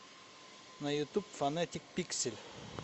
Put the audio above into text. на ютуб фонетик пиксель